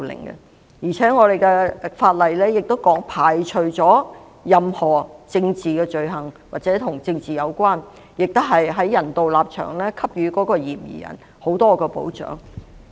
現行法例亦排除了任何政治罪行或與政治有關的移交，並且基於人道立場給予嫌疑人很多保障。